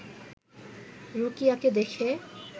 রুকিয়াকে দেখে